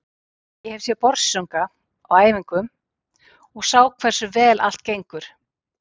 Ég hef séð Börsunga á æfingum og ég sá hversu vel allt gengur.